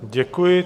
Děkuji.